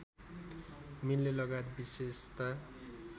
मिल्नेलगायत विशेषता